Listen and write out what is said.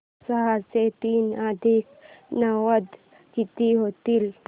सहाशे तीन अधिक नव्वद किती होतील